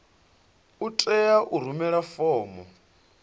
u tea u rumela fomo